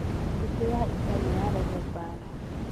Mbũtũ ya ita ni ya reehe mbaara